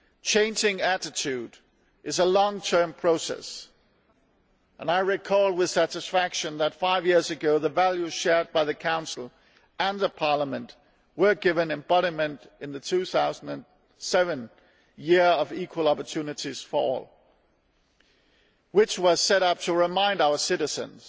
Changing attitudes is a long term process, and I recall with satisfaction that five years ago the values shared by the Council and the Parliament were given embodiment in the 2007 Year of Equal Opportunities for All, which was set up to remind our citizens